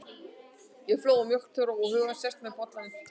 Ég flóa mjólk til að róa hugann, sest með bollann við tölvuna.